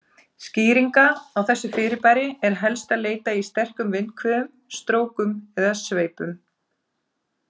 Skýringa á þessu fyrirbæri er helst að leita í sterkum vindhviðum, strókum eða sveipum.